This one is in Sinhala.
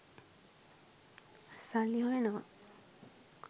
සල්ලි හොයනවා.